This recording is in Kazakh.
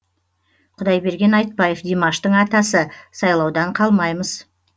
құдайберген айтбаев димаштың атасы сайлаудан қалмаймыз